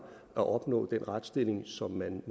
at opnå den retsstilling som man